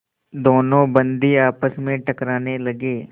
दोनों बंदी आपस में टकराने लगे